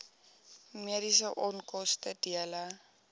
mediese onkoste dele